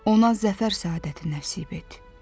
Ona zəfər səadəti nəsib et.